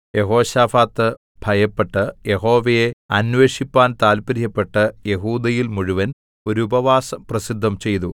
യെഹോശാഫാത്ത് ഭയപ്പെട്ട് യഹോവയെ അന്വേഷിപ്പാൻ താല്പര്യപ്പെട്ട് യെഹൂദയിൽ മുഴുവൻ ഒരു ഉപവാസം പ്രസിദ്ധം ചെയ്തു